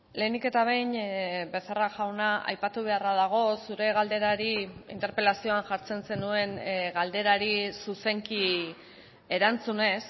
lehenik eta behin becerra jauna aipatu beharra dago zure galderari interpelazioan jartzen zenuen galderari zuzenki erantzunez